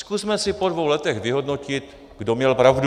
Zkusme si po dvou letech vyhodnotit, kdo měl pravdu.